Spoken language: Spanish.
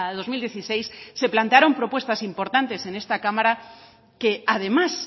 dos mil dieciséis se plantearon propuestas importantes en esta cámara que además